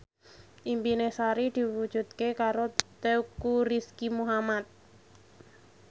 impine Sari diwujudke karo Teuku Rizky Muhammad